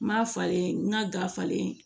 N ma falen n ka ga falen